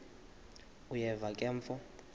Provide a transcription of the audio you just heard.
uyeva ke mfo